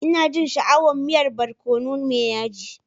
Ina jin sha'awan miyan barkono mai yaji.